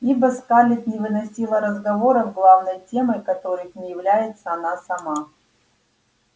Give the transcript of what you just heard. ибо скарлетт не выносила разговоров главной темой которых не является она сама